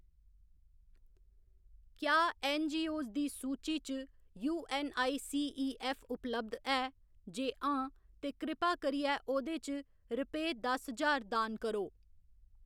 क्या ऐन्नजीओऐस्स दी सूची च यूऐन्नआईसीईऐफ्फ उपलब्ध ऐ, जे हां तां कृपा करियै ओह्दे च रुपेऽ दस ज्हार दान करो।